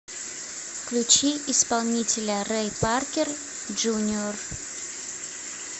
включи исполнителя рэй паркер джуниор